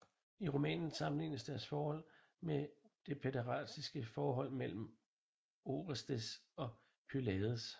I romanen sammenlignes deres forhold med det pæderastiske forhold mellem Orestes og Pylades